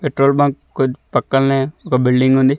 Petrol bunk కొద్ పక్కల్నే ఒక బిల్డింగ్ ఉంది.